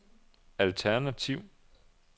alternativ